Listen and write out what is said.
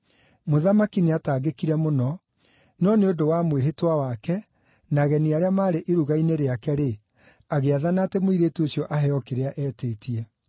Mũthamaki nĩataangĩkire mũno, no nĩ ũndũ wa mwĩhĩtwa wake, na ageni arĩa maarĩ iruga-inĩ rĩake-rĩ, agĩathana atĩ mũirĩtu ũcio aheo kĩrĩa eetĩtie.